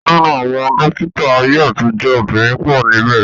Ninu awon dokita aye atijo, obinrin po nibe.